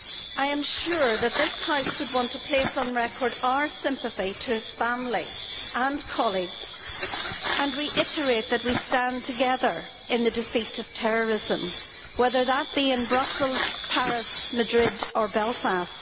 I am sure that this House would want to place on record our sympathy to his family and colleagues, and reiterate that we stand together in the defeat of terrorism, whether that be in Brussels, Paris, Madrid or Belfast.